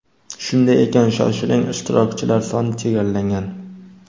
Shunday ekan shoshiling ishtirokchilar soni chegaralangan.